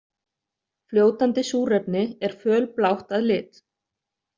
Fljótandi súrefni er fölblátt að lit.